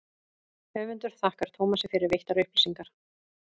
höfundur þakkar tómasi fyrir veittar upplýsingar